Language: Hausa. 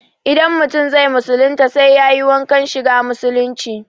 Idan mutum zai musulunta sai yayi wankan shiga musulunci